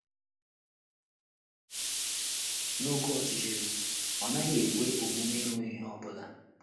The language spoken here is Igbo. N’oké ọchịchịrị, ọ naghị ekwe omume ịhụ ihe ọ bụla.